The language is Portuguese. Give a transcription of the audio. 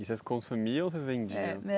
E vocês consumiam ou vocês vendiam? Eh